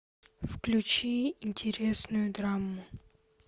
включи интересную драму